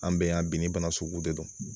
An bɛ yan bi ni bana sugu de don